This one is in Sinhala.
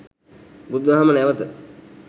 බුදුදහම නැවත